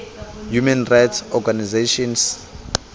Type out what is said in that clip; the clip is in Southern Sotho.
human rights organizations